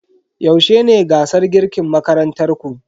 Yaushe ne gasar girkin makarantar ku?